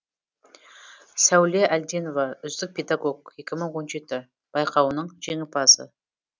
сәуле әлденова үздік педагог екі мың он жеті байқауының жеңімпазы